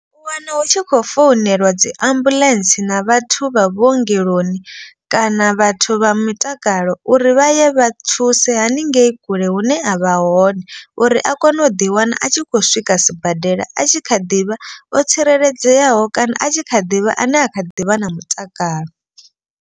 U wana hu tshi khou founeliwa dzi ambuḽentse na vhathu vha vhuongeloni. Kana vhathu vha mutakalo uri vha ye vha thuse haningei kule hune a vha hone. Uri a kone u ḓi wana a tshi kho swika sibadela a tshi kha ḓivha otsireledzeaho. Kana a tshi kha ḓivha ane a kha ḓivha na mutakalo.